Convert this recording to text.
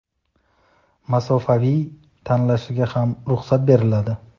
masofaviy) tanlashiga ham ruxsat beriladi.